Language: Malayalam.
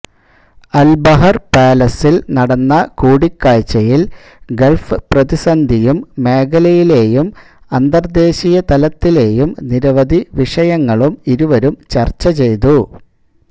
അൽ ബഹർ പാലസിൽ നടന്ന കൂടിക്കാഴ്ചയിൽ ഗൾഫ് പ്രതിസന്ധിയും മേഖലയിലേയും അന്തർദേശീയതലത്തിലേയും നിരവധിവിഷയങ്ങളും ഇരുവരും ചർച്ചചെയ്തു